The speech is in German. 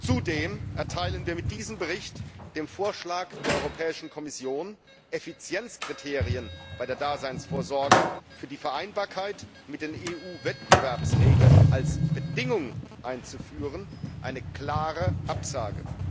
Zudem erteilen wir mit diesem Bericht dem Vorschlag der Europäischen Kommission, Effizienzkriterien bei der Daseinsvorsorge für die Vereinbarkeit mit den EU Wettbewerbsregeln als Bedingung einzuführen, eine klare Absage.